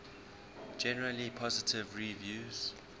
generally positive reviews